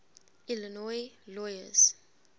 illinois lawyers